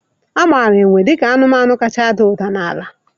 Amara enwe ka ọ bụ anụmanụ kacha ada ụda n'ala.